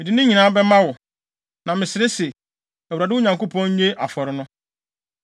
Mede ne nyinaa bɛma wo, na mesrɛ se, Awurade, wo Nyankopɔn nnye afɔre yi.”